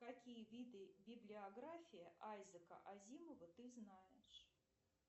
какие виды библиографии айзека азимова ты знаешь